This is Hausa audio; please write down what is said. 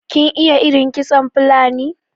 kin iya irin kitson Fulani?